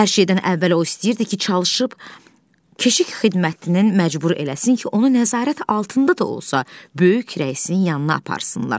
Hər şeydən əvvəl o istəyirdi ki, çalışıb keşik xidmətinin məcbur eləsin ki, onu nəzarət altında da olsa, böyük rəisin yanına aparsınlar.